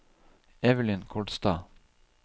Evelyn Kolstad